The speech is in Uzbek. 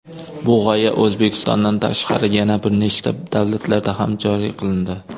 Bu g‘oya O‘zbekistondan tashqari yana bir nechta davlatlarda ham joriy qilindi.